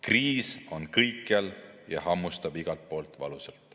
Kriis on kõikjal ja hammustab igalt poolt valusalt.